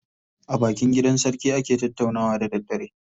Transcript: A bakin gidan sarki ake tattaunawa da daddare.